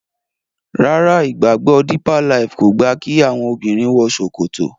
Ràrá ìgbàgbọ deeper life kọ gba ki àwọn obìrin wò ṣòkòtò.